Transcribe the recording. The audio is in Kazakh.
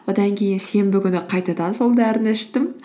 одан кейін сенбі күні қайтадан сол дәріні іштім